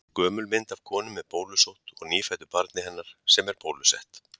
Gömul mynd af konu með bólusótt og nýfæddu barni hennar sem er bólusett.